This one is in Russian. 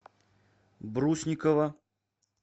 брусникова